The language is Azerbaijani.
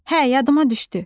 Hə, yadıma düşdü.